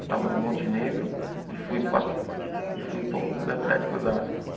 Eu estava no Monte Negro e fui para e fui para o Clube Atlético Osasco.